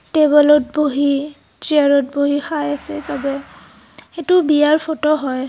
টেবুলত বহি চেয়াৰত বহি খাই আছে চবেই সেইটো বিয়াৰ ফটো হয়।